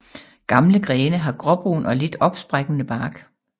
Gamle grene har gråbrun og lidt opsprækkende bark